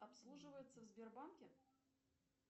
обслуживается в сбербанке